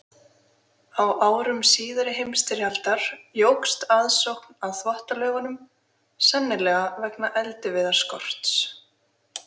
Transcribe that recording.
Á árum síðari heimsstyrjaldar jókst aðsókn að Þvottalaugunum, sennilega vegna eldiviðarskorts.